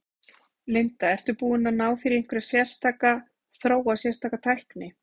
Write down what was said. Linda: Ertu búinn að ná þér í einhverja sérstaka, þróa sérstaka tækni?